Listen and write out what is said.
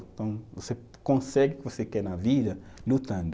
Então, você consegue o que você quer na vida lutando.